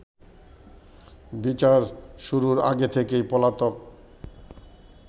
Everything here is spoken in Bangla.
বিচার শুরুর আগে থেকেই পলাতক